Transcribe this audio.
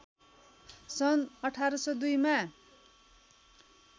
सन् १८०२ मा